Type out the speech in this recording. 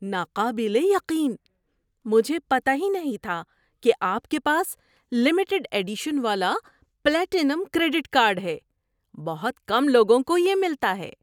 ناقابل یقین! مجھے پتہ ہی نہیں تھا کہ آپ کے پاس لمیٹڈ ایڈیشن والا پلاٹینم کریڈٹ کارڈ ہے۔ بہت کم لوگوں کو یہ ملتا ہے۔